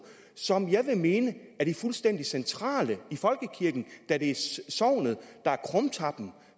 som jeg vil mene er fuldstændig centrale i folkekirken da det er sognet der er krumtappen